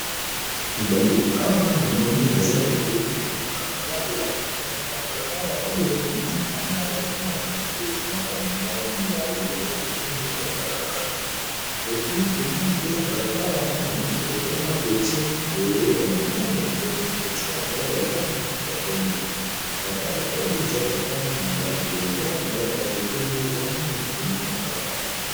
Ba ndeko awa na moni naza obele na ba labala me na balabala oyo pembeni kuna nazo mona ba nzete moko molai molai eza pembeni ya balabala epui pembeni pe ya balabala yango na moni pe koza mwa clotire moko boye ya monene pe clotire yango ya langi ya pembe balabala oyo eza balabala molai mpenza me ba nzete nde eza mingi pembeni ya balabala yango.